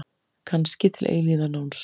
Kannski til eilífðarnóns.